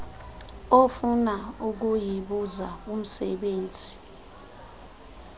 ofuna ukuyibuza kumsebenzi